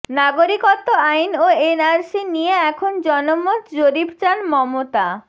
নাগরিকত্ব আইন ও এনআরসি নিয়ে এখন জনমত জরিপ চান মমতা